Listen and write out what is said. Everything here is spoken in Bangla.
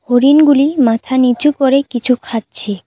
হরিণগুলি মাথা নিচু করে কিছু খাচ্ছে।